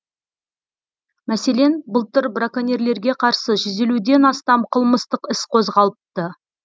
мәселен былтыр браконьерлерге қарсы жүз елуден астам қылмыстық іс қозғалыпты